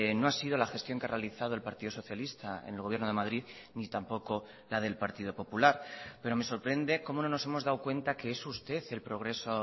no ha sido la gestión que ha realizado el partido socialista en el gobierno de madrid ni tampoco la del partido popular pero me sorprende cómo no nos hemos dado cuenta que es usted el progreso